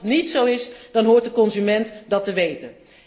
Als dat niet zo is, dan hoort de consument dat te weten.